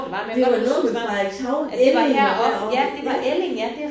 Det var noget med Frederikshavn. Elling og deroppe ja